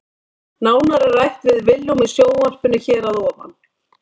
Nánar er rætt við Willum í sjónvarpinu hér að ofan.